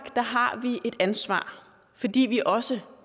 har vi et ansvar fordi vi også